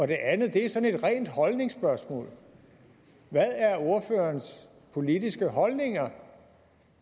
det andet er sådan et rent holdningsspørgsmål hvad er ordførerens politiske holdninger